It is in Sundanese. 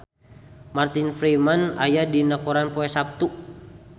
Martin Freeman aya dina koran poe Saptu